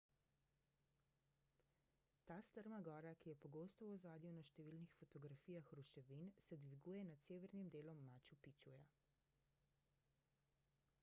ta strma gora ki je pogosto v ozadju na številnih fotografijah ruševin se dviguje nad severnim delom machu picchuja